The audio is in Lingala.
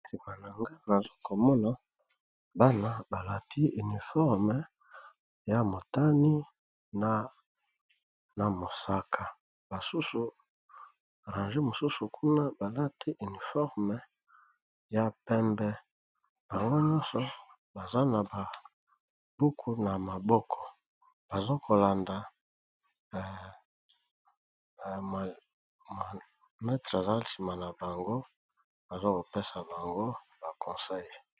Sima nangai Nazokomona Bana balati uniforme ya motani pe na mosaka basusu na range balati uniforme ya pembe bango nyoso baza na buku na maboko bazo kolanda molakisi na bango.